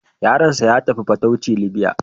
Yaronsa ya tafi fatauci Libya.